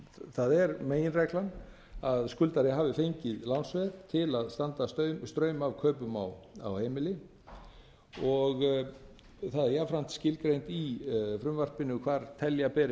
það er meginreglan að skuldari hafi fengið lánsveð til að standa straum af kaupum á heimili og það er jafnframt skilgreint í frumvarpinu hvar telja beri